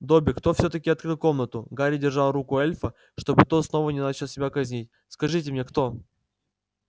добби кто всё-таки открыл комнату гарри держал руку эльфа чтобы тот снова не начал себя казнить скажите мне кто